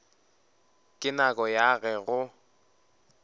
ka nako ya ge go